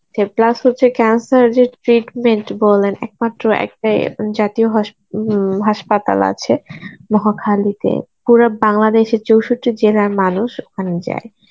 plus হচ্ছে cancer যে treatment বলেন একমাত্র একটাই অ্যাঁ উম জাতীয় হস~ উম হাসপাতাল আছে নোয়াখালীতে. পুরা বাংলাদেশে চৌষট্টি জেলার মানুষ ওখানে যায়